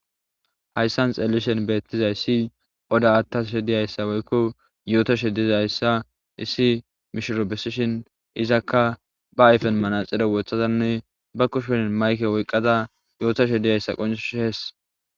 Hayssan xelishen beettizay si oda attasushe diyayssa woykko yootashe dizayssa issi mishoro besishin izakka ba ayfen manaxire wothazanne ba kushenin mayke woyqqada yootashe diyayssa qoncush hees